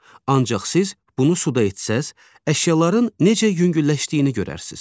Ancaq siz bunu suda etsəz, əşyaların necə yüngülləşdiyini görərsiz.